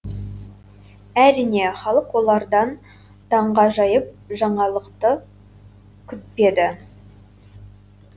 әрине халық олардан таңғажайып жаңалықты күтпеді